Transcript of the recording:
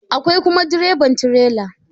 Akwai kuma direban tirela.